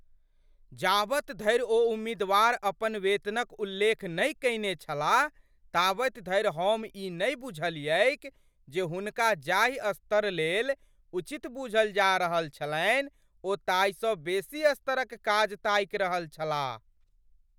जाबत धरि ओ उम्मीदवार अपन वेतनक उल्लेख नहि कयने छलाह ताबत धरि हम ई नहि बुझलियैक जे हुनका जाहि स्तरलेल उचित बूझल जा रहल छलनि ओ ताहिसँ बेसी स्तरक काज ताकि रहल छलाह।